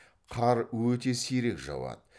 қар өте сирек жауады